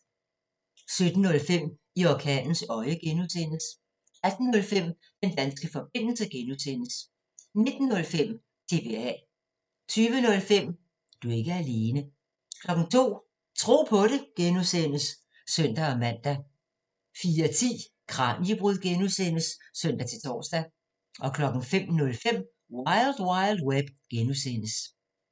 17:05: I orkanens øje (G) 18:05: Den danske forbindelse (G) 19:05: TBA 20:05: Du er ikke alene 02:00: Tro på det (G) (søn-man) 04:10: Kraniebrud (G) (søn-tor) 05:05: Wild Wild Web (G)